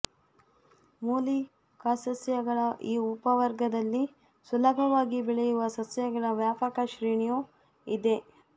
ಮೂಲಿಕಾಸಸ್ಯಗಳ ಈ ಉಪವರ್ಗದಲ್ಲಿ ಸುಲಭವಾಗಿ ಬೆಳೆಯುವ ಸಸ್ಯಗಳ ವ್ಯಾಪಕ ಶ್ರೇಣಿಯು ಇದೆ